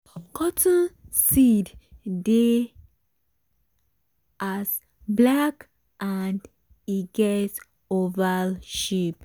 cotton seed dey as black and e get oval shape.